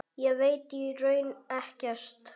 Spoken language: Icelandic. Ég veit í raun ekkert.